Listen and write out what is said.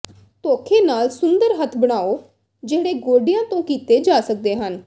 ਧੌਖੇ ਨਾਲ ਸੁੰਦਰ ਹੱਥ ਬਣਾਉ ਜਿਹੜੇ ਗੋਡਿਆਂ ਤੋਂ ਕੀਤੇ ਜਾ ਸਕਦੇ ਹਨ